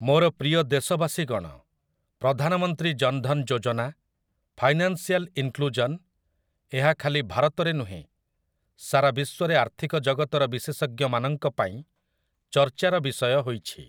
ମୋର ପ୍ରିୟ ଦେଶବାସୀଗଣ, ପ୍ରଧାନମନ୍ତ୍ରୀ ଜନ୍‌ଧନ୍‌ ଯୋଜନା, ଫାଇନାନ୍ସିଆଲ୍ ଇନ୍‌କ୍ଲୁଜନ୍, ଏହା ଖାଲି ଭାରତରେ ନୁହେଁ, ସାରା ବିଶ୍ୱରେ ଆର୍ଥିକ ଜଗତର ବିଶେଷଜ୍ଞମାନଙ୍କ ପାଇଁ ଚର୍ଚ୍ଚାର ବିଷୟ ହୋଇଛି ।